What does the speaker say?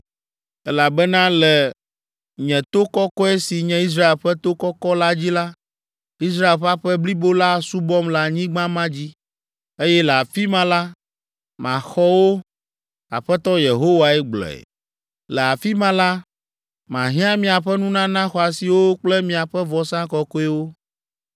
Elabena le nye to kɔkɔe si nye Israel ƒe to kɔkɔ la dzi la, Israel ƒe aƒe blibo la asubɔm le anyigba ma dzi, eye le afi ma la, maxɔ wo.’ Aƒetɔ Yehowae gblɔe. ‘Le afi ma la, mahiã miaƒe nunana xɔasiwo kple miaƒe vɔsa kɔkɔewo.